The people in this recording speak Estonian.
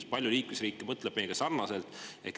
Kui paljud liikmesriigid mõtlevad meiega sarnaselt?